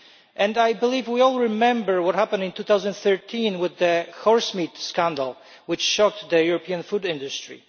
And I believe we all remember what happened in 2013 with the horsemeat scandal, which shocked the European food industry.